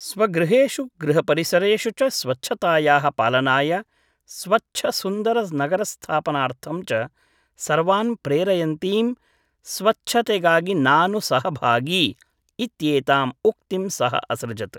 स्वगृहेषु गृहपरिसरेषु च स्वच्छतायाः पालनाय स्वच्छ सुन्दर नगरस्थापनार्थं च सर्वान् प्रेरयन्तीं 'स्वच्छतेगागि नानु सहभागी' इत्येताम् उक्तिं सः असृजत्।